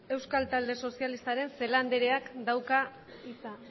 euskal talde sozialistaren celaá andereak dauka hitza